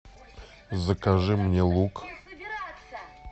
закажи мне лук